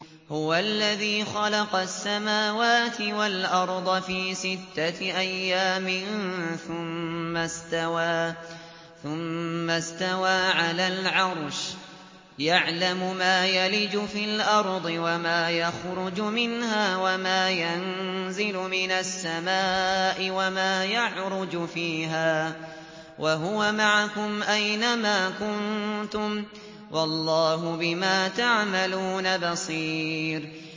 هُوَ الَّذِي خَلَقَ السَّمَاوَاتِ وَالْأَرْضَ فِي سِتَّةِ أَيَّامٍ ثُمَّ اسْتَوَىٰ عَلَى الْعَرْشِ ۚ يَعْلَمُ مَا يَلِجُ فِي الْأَرْضِ وَمَا يَخْرُجُ مِنْهَا وَمَا يَنزِلُ مِنَ السَّمَاءِ وَمَا يَعْرُجُ فِيهَا ۖ وَهُوَ مَعَكُمْ أَيْنَ مَا كُنتُمْ ۚ وَاللَّهُ بِمَا تَعْمَلُونَ بَصِيرٌ